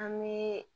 An bɛ